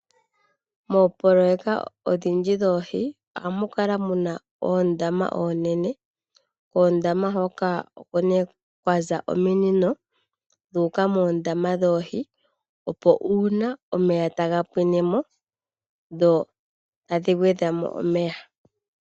Moopoloyeka odhindji dhoohi ohamu kala mu na oondama oonene. Koondama hoka oko nee kwa za omunino dhu uka moondama dhoohi, opo uuna omeya taga pwine mo dho tadhi gwedha mo omeya.